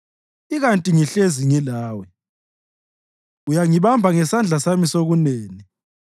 Ikanti ngihlezi ngilawe; uyangibamba ngesandla sami sokunene.